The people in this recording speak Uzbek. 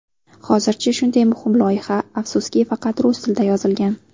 Hozircha shunday muhim loyiha, afsuski, faqat rus tilida yozilgan.